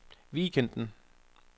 weekenden